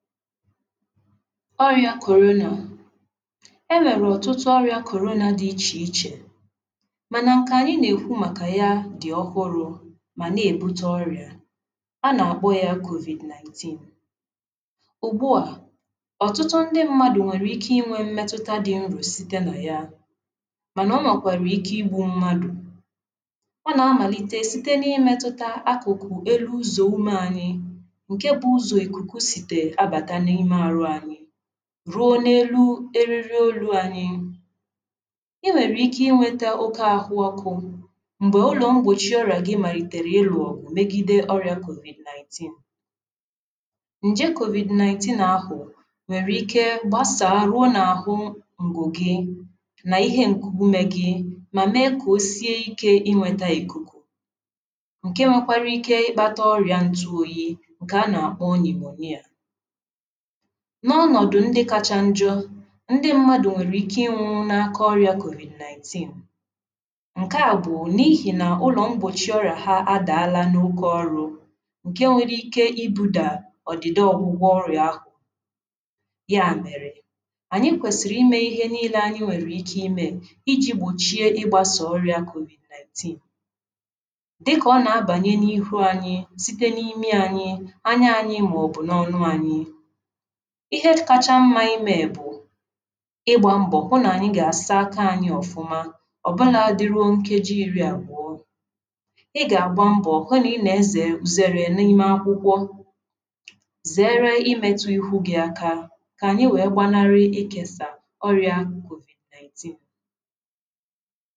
ọrịa korona e nwere ọtụtụ ọrịa korona dị iche iche mana nke anyị na-ekwu maka ya dị ọhụrụ ma na-ebute ọrịa a na-agbọ ya covid-19 ugbu a ọtụtụ ndị mmadụ nwere ike inwe mmetụta dị nro site na ya mana ụmụkwara ike igbu mmadụ a na-amalite site na-imetụta akụkụ elu ụzọ ume anyị ruo n’elu eriri olu anyi i nwere ike inweta oke ahụ ọkụ mgbe ụlọ mgbochi ọra gị malitere ịlọ obu megide ọrịa covid-19 nje covid-19 na-ahụ nwere ike gbasaa ruo na ahụ ngụ gị na ihe nkugume gị ma mee ka o sie ike inweta ikuku nke nwekwara ike ịkpata ọrịa ntụ oyi n’ọnọ̀dụ̀ ndị kacha njo ndị mmadụ̀ nwèrè ike ịnwụ̇ n’aka ọrịà kọ̀bị̀rị̀ naị̀team ǹkè àbụ̀ọ n’ihi nà ụlọ̀ mbòchi ọrịà ha adàala n’oke ọrụ ǹke nwere ike ịbụ̇dà ọ̀dị̀de ọ̀gwụgwọ ọrịà ahụ̀ ya mèrè ànyị kwèsìrì imė ihe niile anyị nwèrè ike imė iji̇ gbòchie ịgbȧsà ọrịà kọ̀bị̀rị̀ naị̀team dịkà ọ nà-abanye n’ihu anyị site n’imi anyị anyị anya anyị màọ̀bụ̀ n’ọnụ anyị ihe kacha mma ime bụ ịgba mbọ hụ na anyị ga-asa aka anyị ọfụma ọbụna dị ruo nkeji iri agwọ ịga agba mbọ hụ na ị na-eze uzeere n’ime akwụkwọ zere imetu ihu gị aka ka anyị wee gbanarị ịkesa ọrịa covid-19